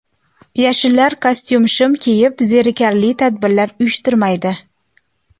Yashillar kostyum-shim kiyib, zerikarli tadbirlar uyushtirmaydi.